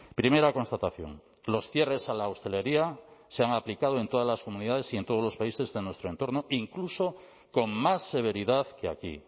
primera constatación los cierres a la hostelería se han aplicado en todas las comunidades y en todos los países de nuestro entorno incluso con más severidad que aquí